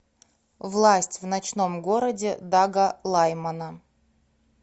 власть в ночном городе дага лаймана